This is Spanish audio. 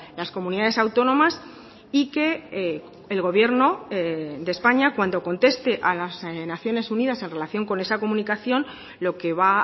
las comunidades autónomas y que el gobierno de españa cuando conteste a las naciones unidas en relación con esa comunicación lo que va